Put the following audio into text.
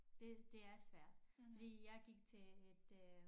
Det det er svært fordi jeg gik til et øh